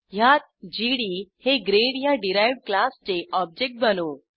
ह्यात जीडी हे ग्रेड ह्या डिराइव्ह्ड क्लासचे ऑब्जेक्ट बनवू